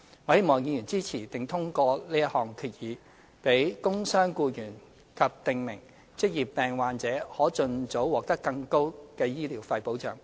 我希望議員支持並通過這項決議，讓工傷僱員及訂明職業病患者可盡早獲得更高的醫療費保障。